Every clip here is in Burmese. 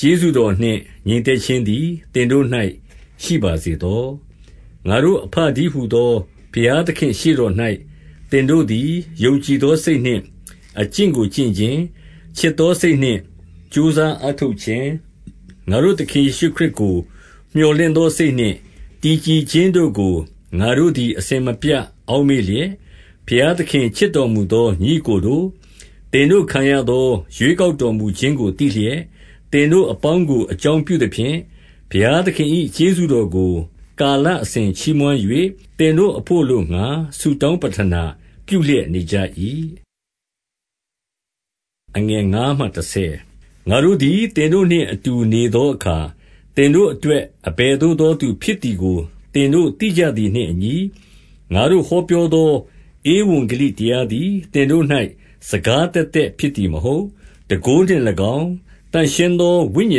ကျေးဇူးတော်နှင့် ငြိမ်သက်ခြင်းသည် သင်တို့၌ ရှိပါစေသော။ 2 ငါတို့အဘတည်းဟူသော ဘုရားသခင့်ရှေ့တော်၌၊ သင်တို့သည် ယုံကြည်သောစိတ်နှင့် အကျင့်ကို ကျင့်ခြင်း၊ ချစ်သောစိတ်နှင့် ကြိုးစားအားထုတ်ခြင်း၊ 3 ငါတို့သခင်ယေရှုခရစ်ကို မြော်လင့်သောစိတ်နှင့် တည်ကြည်ခြင်းတို့ကို ငါတို့သည် အစဉ်မပြတ် အောက်မေ့လျက်၊ ဘုရားသခင်ချစ်တော်မူသော ညီအစ်ကိုတို့၊ သင်တို့ခံရသော ရွေးကောက်တော်မူခြင်းကို သိလျက်၊ သင်တို့အပေါင်းကို အကြောင်းပြုသဖြင့်၊ 4 ဘုရားသခင်၏ ကျေးဇူးတော်ကို ကာလအစဉ်ချီးမွမ်း၍၊ သင်တို့အဘို့ အလိုငှါ ဆုတောင်းပဌနာပြုလျက် နေကြ၏။ 5 ငါတို့သည် သင်တို့နှင့်အတူနေသောအခါ သင်တို့အတွက် အဘယ်သို့သော သူဖြစ်သည်ကို သင်တို့ သိကြသည်နှင့်အညီ၊ ငါတို့ဟောပြောသော ဧဝံဂေလိတရားသည်၊ သင်တို့၌ စကားသက်သက်ဖြစ်သည် မဟုတ်။ တန်ခိုးနှင့်၎င်း၊ သန့်ရှင်းသောဝိညာ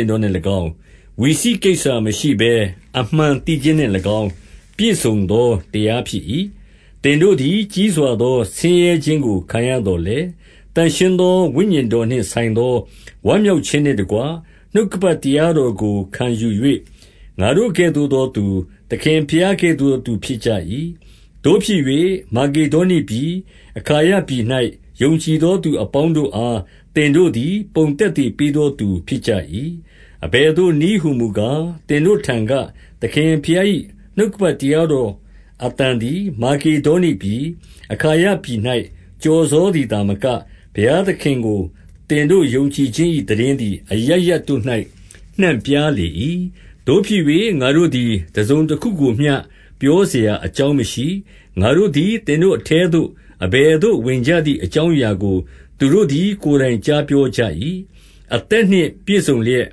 ဉ်တော်နှင့်၎င်း၊ ဝိစိကိစ္ဆာမရှိဘဲ အမှန်သိခြင်းနှင့်၎င်း ပြည့်စုံသော တရားဖြစ်၏။ 6 သင်တို့သည် ကြီးစွာသောဆင်းရဲခြင်းကို ခံရသော်လည်း၊ သန့်ရှင်းသော ဝိညာဉ်တော်နှင့်ဆိုင်သော ဝမ်းမြောက်ခြင်းနှင့်တကွ နှုတ်ကပတ်တရားတော်ကို ခံယူ၍၊ ငါတို့ကဲ့သို့သောသူ၊ သခင်ဘုရားကဲ့သို့သော သူဖြစ်ကြ၏။ 7 သို့ဖြစ်၍၊ မာကေဒေါနိပြည်၊ အာခါယပြည်၌ ယုံကြည်သော သူအပေါင်းတို့အား သင်တို့သည် ပုံသက်သေပေးသောသူ ဖြစ်ကြ၏။ 8 အဘယ်သို့နည်းဟူမူကား၊ သင်တို့ထံက၊ သခင်ဘုရား၏ နှုတ်ကပတ်တရားတော်အသံသည်၊ မာကေ ဒေါနိပြည်၊ အခါယပြည်၌ ကျော်စောသည်သာမက၊ ဘုရားသခင်ကို သင်တို့ ယုံကြည်ခြင်း၏ သိတင်းသည် အရပ်ရပ်တို့၌ နှံ့ပြားလေ၏။ သို့ဖြစ်၍ ငါတို့သည် တစုံတခုကိုမျှ ပြောစရာအကြောင်းမရှိ။ 9 ငါတို့သည် သင်တို့အထဲသို့ အဘယ်သို့ ဝင်ကြသည် အကြောင်းအရာကို သူတို့သည် ကိုယ်တိုင်ကြား ပြောကြ၏။ အသက်နှင့် ပြည့်စုံလျက်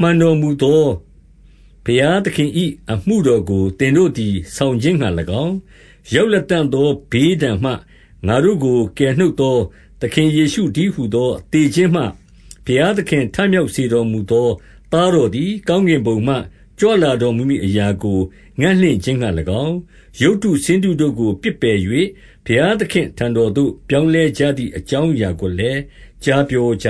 မှန်တော်မူသော ဘုရားသခင်၏ အမှုတော်ကို သင်တို့သည် ဆောင်ခြင်း ငှါ၎င်း၊ 10 ရောက်လတံ့သော ဘေးဒဏ်မှ ငါတို့ကို ကယ်နှုတ်သော သခင်ယေရှုတည်းဟူသော သေခြင်းမှ ဘုရား သခင် ထမြောက်စေတော်မူသော သားတော်သည် ကောင်းကင်ဘုံမှ ကြွလာတော်မူမည် အရာကို ငံ့လင့်ခြင်း ငှါ၎င်း၊ ရုပ်တုဆင်းတုတို့ကို ပစ်ပယ်၍၊ ဘုရားသခင့်အထံတော်သို့ ပြောင်းလဲကြသည် အကြောင်းအရာ ကိုလည်း ကြားပြောကြ